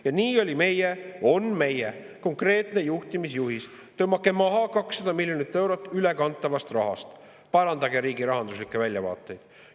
Ja nii oli meie – on meie – konkreetne juhtimisjuhis: tõmmake maha 200 miljonit eurot ülekantavast rahast, parandage riigi rahanduslikke väljavaateid.